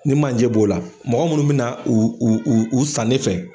Ni manje b'o la, mɔgɔ munnu bina, u u u u san ne fɛ